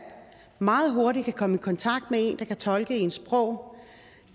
meget hurtigt kan komme i kontakt med en der kan tolke ens sprog